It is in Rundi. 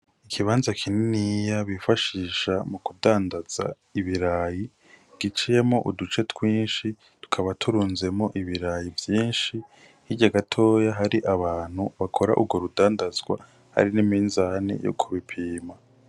Ikibanza kininiya bifashisha mu kudandaza ibirayi giciyemo uduce twinshi tukaba turunzemo ibirayi vyinshi hirya agatoya hari abantu bakora urwo rudandazwa ari n'iminzani yo kubipima.